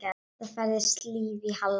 Það færðist líf í Halla.